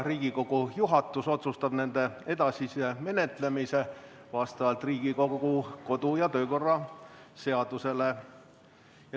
Riigikogu juhatus otsustab nende edasise menetlemise vastavalt Riigikogu kodu‑ ja töökorra seadusele.